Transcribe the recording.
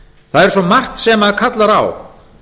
það er svo margt sem kallar á